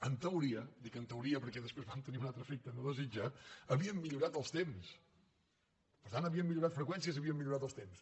en teoria dic en teoria perquè després van tenir un altre efecte no desitjat havíem millorat els temps per tant havíem millorat freqüències i havíem millorat els temps